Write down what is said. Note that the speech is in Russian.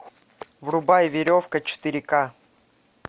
врубай веревка четыре ка